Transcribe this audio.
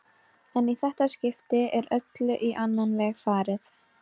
En í þetta skipti er öllu á annan veg farið.